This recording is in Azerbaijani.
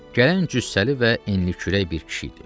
Gələn cüssəli və enlikürək bir kişi idi.